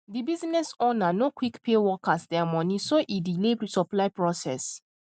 the business ownernor quick pay workers there money so e delay supply process